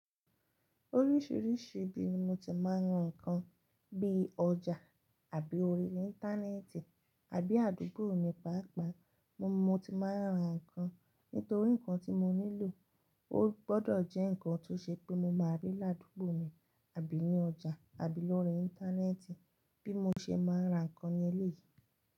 Oríṣìíríṣìí ibi mo ti máa ń ra nǹkan bí i ọjà àbí orí Íńtánẹ́ẹ̀tì àbí àdúgbò mi pàápàá mo, mo ti máa ń ra nǹkan. Nítorí nǹkan tí mo nílò ó gbọdọ̀ jẹ́ nǹkan tó ṣe pé mo máa rí ládúgbò mi àbí ní ọjà àbí lórí Íńtánẹ́ẹ̀tì bí mo ṣe máa ń ra nǹkan ní ilé yìí.